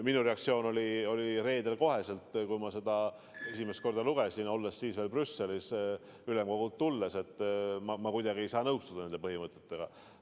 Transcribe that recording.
Minu reaktsioon oli reedel kohe, kui ma seda esimest korda lugesin, olles siis veel ülemkogult tulnuna Brüsselis, et ma kuidagi ei saa nõustuda nende põhimõtetega.